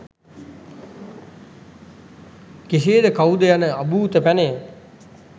කෙසේද කවුද යන අභූත පැනය